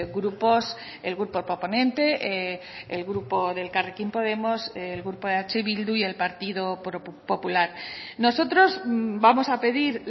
grupos el grupo proponente el grupo de elkarrekin podemos el grupo eh bildu y el partido popular nosotros vamos a pedir